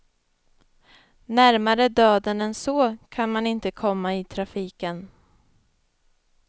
Närmare döden än så kan man inte komma i trafiken.